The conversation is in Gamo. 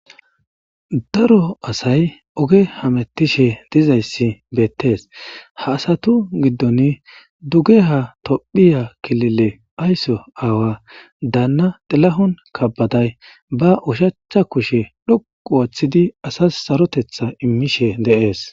Daro asay oge hamettishe dizayssi beettees ha asatu giddon duge ha tophiya kilile aysso aawa daanna dilahon kabaday ba ushachcha kushe dhoqu ooththidi asas sarotetha immishe deees.